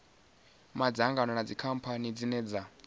madzangano na dzikhamphani dzine dza